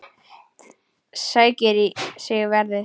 Sækir í sig veðrið.